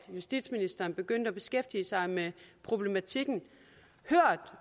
justitsministeren begyndte at beskæftige sig med problematikken hørt